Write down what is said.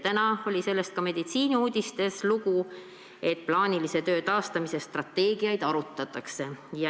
Täna oli ka ajakirjas Meditsiiniuudised lugu sellest, et plaanilise töö taastamise strateegiat arutatakse.